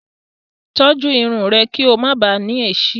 Tọ́jú irun rẹ kí o máa bàá ní èéṣí.